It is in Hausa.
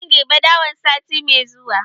Zan girbi dawan sati mai zuwa.